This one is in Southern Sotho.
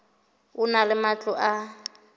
e na le matlo a